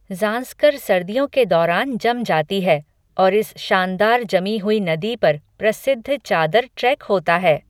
जांस्कर सर्दियों के दौरान जम जाती है और इस शानदार जमी हुई नदी पर प्रसिद्ध चादर ट्रेक होता है।